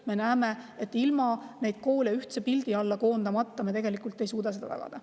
Me näeme, et ilma neid koole ühtse alla koondamata me tegelikult ei suuda seda tagada.